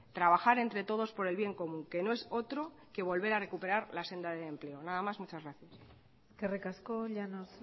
trabajar entre todos por el bien común que no es otro que volver a recuperar la senda del empleo nada más muchas gracias eskerrik asko llanos